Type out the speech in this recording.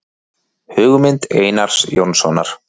Hugmynd Einars Jónssonar.